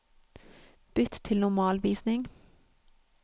Bytt til normalvisning